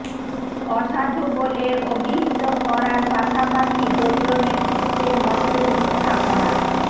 অসাধু বলে অবিহিত করার পাশাপাশি দলীয় নেতৃত্বের মতোই মিথ্যা ভরা